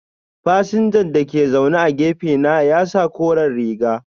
Fasinja da ke zaune a gefe na ya sa kore riga.